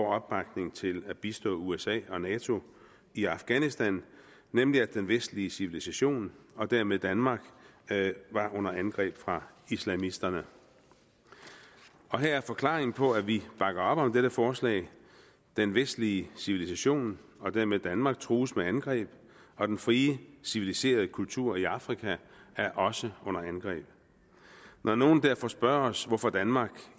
opbakning til at bistå usa og nato i afghanistan nemlig at den vestlige civilisation og dermed danmark var under angreb fra islamisterne her er forklaringen på at vi bakker op om dette forslag den vestlige civilisation og dermed danmark trues med angreb og den frie civiliserede kultur i afrika er også under angreb når nogle derfor spørger os hvorfor danmark